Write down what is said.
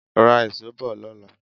Ra ìṣó bọ̀ lọ́la.